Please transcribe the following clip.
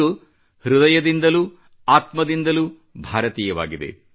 ಇದು ಹೃದಯದಿಂದಲೂ ಆತ್ಮದಿಂದಲೂ ಭಾರತೀಯವಾಗಿದೆ